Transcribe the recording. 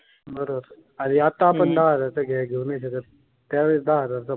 बर. आणि आता आपण दहा हजार चा काही घेऊ नाही शकत त्यावेळी दहा हजार चा.